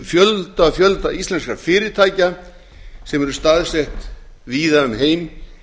fjölda fjölda íslenskra fyrirtækja sem eru staðsett víða um heim